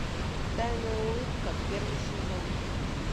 тайная улыбка первый сезон